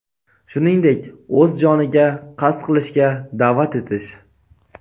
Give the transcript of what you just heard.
shuningdek o‘z joniga qasd qilishga da’vat etish;.